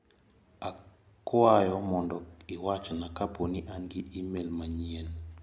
Akwayo mondo iwachna ka poni an gi imel manyien.